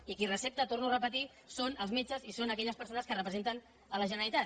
i qui recepta ho torno a repetir són els metges i són aquelles persones que representen la generalitat